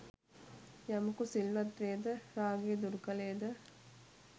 යමකු සිල්වත් වේද, රාගය දුරු කළේද